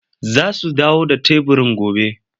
Za su dawo da teburin gobe,